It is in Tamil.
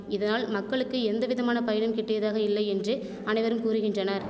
இதனால் மக்களுக்கு எந்த விதமான பயனும் கிட்டியதாக இல்லை என்று அனைவரும் கூறுகின்றனர்